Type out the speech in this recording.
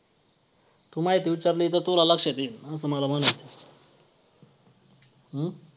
तू माहिती विचारली तर तुला लक्षात येईल असं मला म्हणायचं आहे. अं